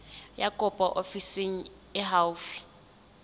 ya kopo ofising e haufi